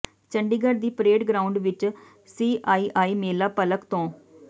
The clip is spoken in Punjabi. ਚੰਡੀਗਡ਼੍ਹ ਦੀ ਪਰੇਡ ਗਰਾਊਂਡ ਵਿੱਚ ਸੀਆਈਆਈ ਮੇਲਾ ਭਲਕ ਤੋਂ